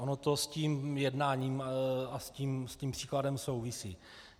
Ono to s tím jednáním a s tím příkladem souvisí.